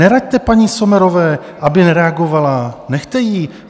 - Neraďte paní Sommerové, aby nereagovala, nechte ji!